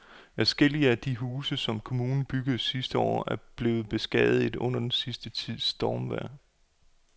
Adskillige af de huse, som kommunen byggede sidste år, er blevet beskadiget under den sidste tids stormvejr.